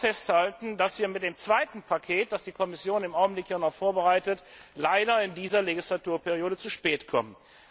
Ich will aber auch festhalten, dass wir mit dem zweiten Paket, das die Kommission im Augenblick ja noch vorbereitet, leider in dieser Legislaturperiode zu spät kommen.